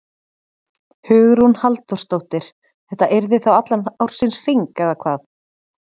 Hugrún Halldórsdóttir: Þetta yrði þá allan ársins hring, eða hvað?